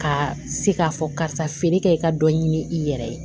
Ka se k'a fɔ karisa feere kɛ i ka dɔ ɲini i yɛrɛ ye